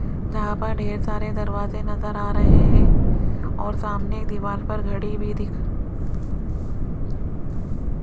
यहां पर ढेर सारे दरवाजे नजर आ रहे हैं और सामने दीवार पर घड़ी भी दिख --